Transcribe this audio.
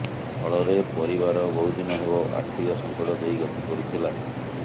ଫଳରେ ପରିବାର ବହୁଦିନ ହେବ ଆର୍ଥିକ ସଙ୍କଟ ଦେଇ ଗତି କରୁଥିଲା